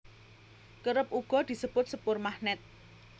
Kerep uga disebut sepur magnèt